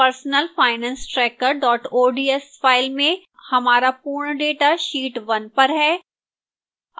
personalfinancetracker ods file में हमारा पूर्ण data sheet 1 पर है